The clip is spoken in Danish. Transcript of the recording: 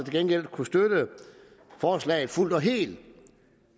gengæld kunne støtte forslaget fuldt og helt